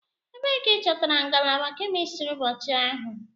Ebee ka ị chọtara ngalaba kemistri ụbọchị ahụ?